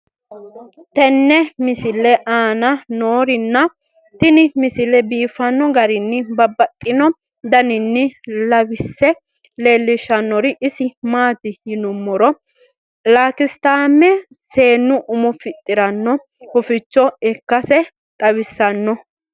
tenne misile aana noorina tini misile biiffanno garinni babaxxinno daniinni xawisse leelishanori isi maati yinummoro lakisitaame seennu umo fixiranno huficho ikkasse xawissanno